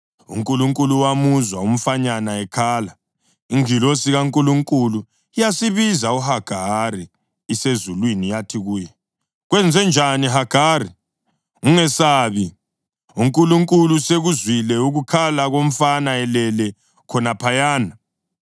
UNkulunkulu wamuzwa umfanyana ekhala, ingilosi kaNkulunkulu yasibiza uHagari isezulwini yathi kuye, “Kwenzenjani, Hagari? Ungesabi; uNkulunkulu usekuzwile ukukhala komfana elele khonaphayana.